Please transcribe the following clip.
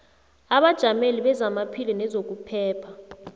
abajameli bezamaphilo nezokuphepha